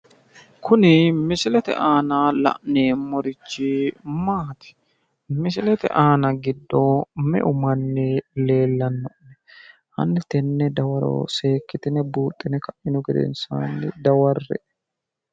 Kuni misilete aana la'neemmorichi maati? Misilete aana giddo meu manni leellanni no? Hanni tenne dawaro seekkitine buuxxinihu redness dawarre"e.